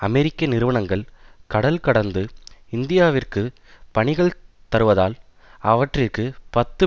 அமெரிக்க நிறுவனங்கள் கடல் கடந்து இந்தியாவிற்குப் பணிகள் தருவதால் அவற்றிற்கு பத்து